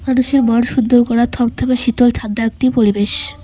মানুষের মন সুন্দর করা থপথপে শীতলঠান্ডা একটি পরিবেশ।